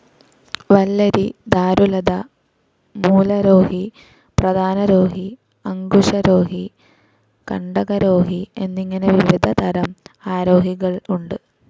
വല്ലരി, ധാരുലത, മൂലരോഹി, പ്രധാനരോഹി, അങ്കുശരോഹി, കണ്ടകരോഹി എന്നിങ്ങനെ വിവിധ തരം ആരോഹികൾ ഉണ്ട്.